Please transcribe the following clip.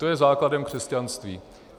To je základem křesťanství.